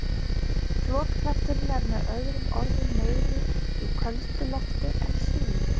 Flotkrafturinn er með öðrum orðum meiri í köldu lofti en hlýju.